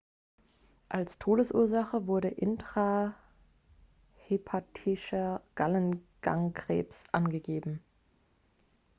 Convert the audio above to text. als todesursache wurde intrahepatischer gallengangkrebs angegeben